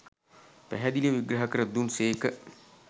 පැහැදිලිව විග්‍රහ කර දුන් සේක